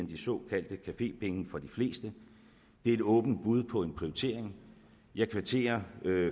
de såkaldte cafépenge for de fleste det er et åbent bud på en prioritering og jeg kvitterer